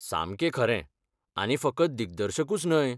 सामकें खरें, आनी फकत दिगदर्शकूच न्हय.